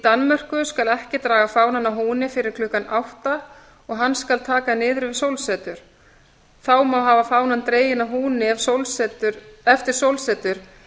danmörku skal ekki draga fánann að húni fyrir klukkan átta og hann skal taka niður við sólsetur þá má hafa fánann dreginn að húni eftir sólsetur